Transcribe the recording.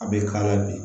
A bɛ k'a la bi